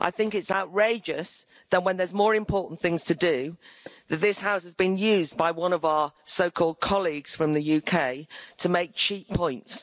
It's outrageous, when there are more important things to do, that this House has been used by one of our so called colleagues from the UK to make cheap points.